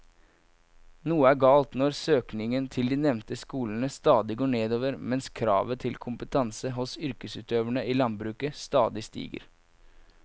Noe er galt når søkningen til de nevnte skolene stadig går nedover mens kravet til kompetanse hos yrkesutøverne i landbruket stadig stiger.